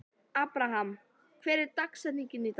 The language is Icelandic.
Abraham, hver er dagsetningin í dag?